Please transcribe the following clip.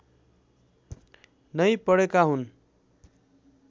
नै पढेका हुन्